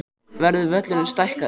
Verður völlurinn stækkaður?